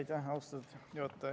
Aitäh, austatud juhataja!